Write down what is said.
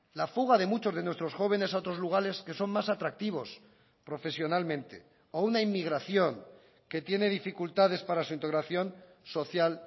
la fuga de muchos de nuestros jóvenes a otros lugares que son más atractivos profesionalmente o una inmigración que tiene dificultades para su integración social